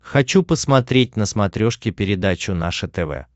хочу посмотреть на смотрешке передачу наше тв